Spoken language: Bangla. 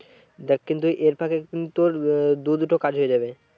দেখ কিন্তু এর ফাঁকে কিন্তু তোর আহ দু দুটো কাজ হয়ে যাবে।